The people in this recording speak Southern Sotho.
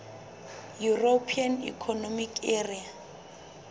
european economic area